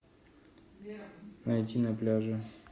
найти на пляже